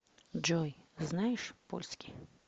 джой знаешь польский